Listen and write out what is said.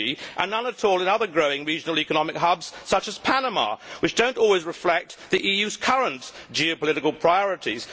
Fiji and none at all in other growing regional economic hubs, such as Panama, which do not always reflect the EU's current geopolitical priorities.